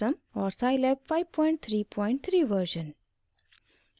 और scilab 533 version